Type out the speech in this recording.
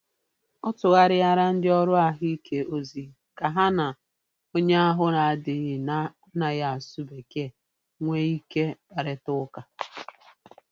Ọ tụgharịara ndị ọrụ ahụike ozi ka ha na onye ahụ adịghị na-anaghị asụ Bekee nwee ike kparịta ụka.